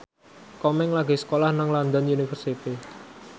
Komeng lagi sekolah nang London University